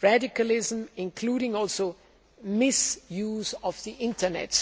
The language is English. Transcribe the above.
radicalism, including misuse of the Internet.